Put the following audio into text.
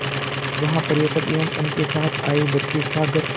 जहाँ पर्यटक एवं उनके साथ आए बच्चे सागर